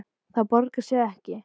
Það borgar sig ekki.